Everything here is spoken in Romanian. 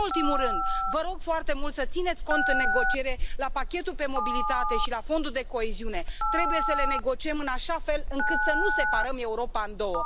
Și nu în ultimul rând, vă rog foarte mult să țineți cont în negociere la pachetul pe mobilitate și la fondul de coeziune trebuie să le negociem în așa fel încât să nu separăm Europa în două.